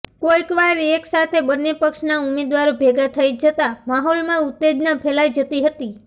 કોઇકવાર એક સાથે બંને પક્ષના ઉમેદવારો ભેગાં થઇ જતાં માહોલમાં ઉત્તેજના ફેલાઇ જતી હતી